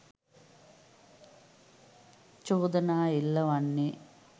චෝදනා එල්ල වන්නේ